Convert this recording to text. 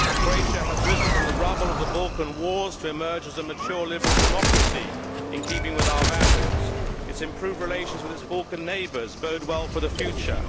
Croatia has risen from the rubble of the Balkan wars to emerge as a mature, liberal democracy, in keeping with our values. Its improved relations with its Balkan neighbours bode well for the future.